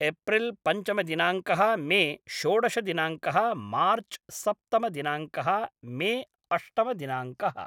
April पञ्चमदिनाङ्कः May षोडशदिनाङ्कः March सप्तमदिनाङ्कः मे अष्टमदिनाङ्कः